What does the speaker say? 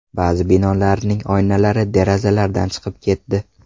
Ba’zi binolarning oynalari derazalardan chiqib ketdi.